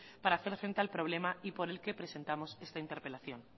para hacer frente al problema y por el que presentamos esta interpelación